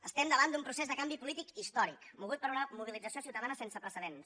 estem davant d’un procés de canvi polític històric mogut per una mobilització ciutadana sense precedents